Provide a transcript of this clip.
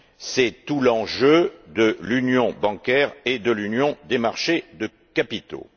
C'est tout l'enjeu de l'union bancaire et de l'union des marchés de capitaux.